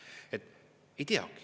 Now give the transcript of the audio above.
Ei teagi!